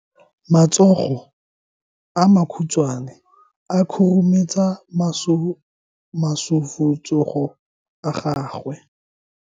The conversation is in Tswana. Matsogo a makhutshwane a khurumetsa masufutsogo a gago.